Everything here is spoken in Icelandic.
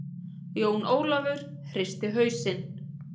Jón Ólafur hristi hausinn.